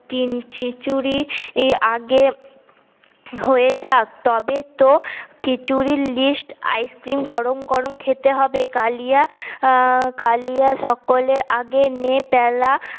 খিছুরি আগে উম হয়ে যাক তবে তো খিছুরি list আইস্ক্রিম গরম গরম খেতে হবে কালিয়া কালিয়া সকলের আগে নে পেলা